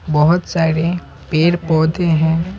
बहुत सारे पेड़-पौधे हैं।